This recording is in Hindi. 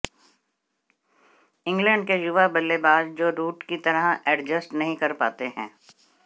इंग्लैंड के युवा बल्लेबाज जो रूट की तरह एडजस्ट नहीं कर पाते हैं